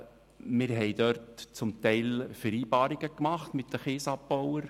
Wir trafen zum Teil mit den Kiesabbauern Vereinbarungen.